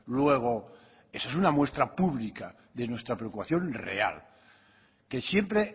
luego esa es una muestra pública de nuestra preocupación real que siempre